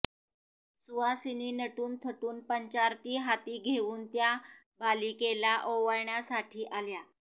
सुवासिनी नटून थटून पंचारती हाती घेवून त्या बालिकेला ओवाळण्यासाठी आल्या